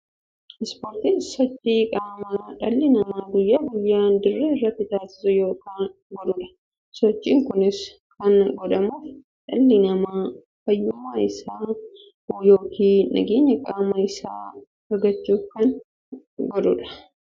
Ispoortiin sochii qaamaa dhalli namaa guyyaa guyyaan dirree irratti taasisu yookiin godhuudha. Sochiin kunis kan godhamuuf, dhalli namaa fayyummaa isaa yookiin jabeenya qaama isaa argachuuf kan godhaniidha. Gosa ispoortii keessaa inni tokko dorgommii kubbaa milaati.